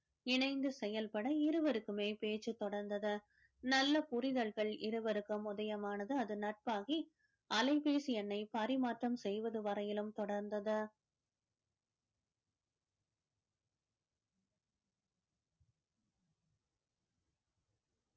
இணைந்து செயல்பட இருவருக்குமே பேச்சு தொடர்ந்தது நல்ல புரிதல்கள் இருவருக்கும் உதயமானது அது நட்பாகி அலைபேசி எண்ணை பரிமாற்றம் செய்வது வரையிலும் தொடர்ந்தது